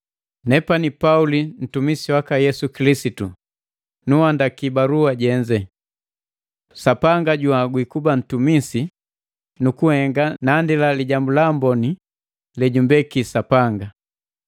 Nepani Pauli ntumisi waka Yesu Kilisitu, nunhandaki balua jenze. Sapanga junhagwi kuba ntumisi nukunhenga nandila Lijambu la Amboni lejumbeki Sapanga.